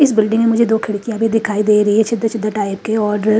इस बिल्डिंग में मुझे दो खिड़कियां भी दिखाई दे रही है छिद्र-छिद्र टाइप के और।